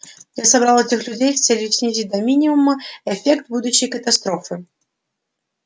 я собрал этих людей с целью снизить до минимума эффект будущей катастрофы